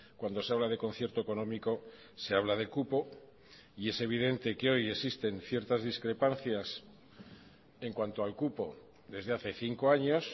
cuando se habla de concierto económico se habla de cupo y es evidente que hoy existen ciertas discrepancias en cuanto al cupo desde hace cinco años